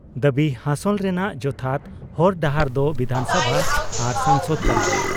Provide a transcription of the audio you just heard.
ᱫᱟᱵᱤ ᱦᱟᱥᱚᱞ ᱨᱮᱱᱟᱜ ᱡᱚᱛᱷᱟᱛ ᱦᱚᱨ ᱰᱟᱦᱟᱨ ᱫᱚ ᱵᱤᱫᱷᱟᱱᱥᱚᱵᱷᱟ ᱟᱨ ᱥᱚᱝᱥᱚᱫ ᱠᱟᱱᱟ ᱾